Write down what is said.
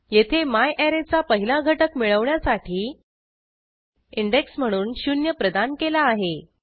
येथे म्यारे चा पहिला घटक मिळवण्यासाठी इंडेक्स म्हणून शून्य प्रदान केला आहे